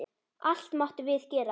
Allt máttum við gera.